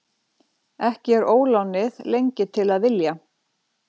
Ekki er ólánið lengi til að vilja.